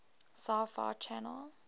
sci fi channel